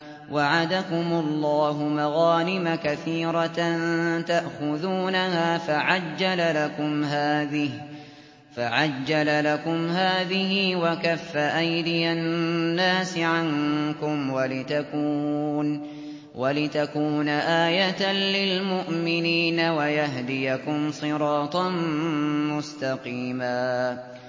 وَعَدَكُمُ اللَّهُ مَغَانِمَ كَثِيرَةً تَأْخُذُونَهَا فَعَجَّلَ لَكُمْ هَٰذِهِ وَكَفَّ أَيْدِيَ النَّاسِ عَنكُمْ وَلِتَكُونَ آيَةً لِّلْمُؤْمِنِينَ وَيَهْدِيَكُمْ صِرَاطًا مُّسْتَقِيمًا